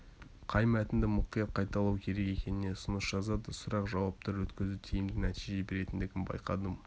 қай мәтінді мұқият қайталау керек екеніне ұсыныс жазады сұрақ-жауаптар өткізу тиімді нәтиже беретіндігін байқадым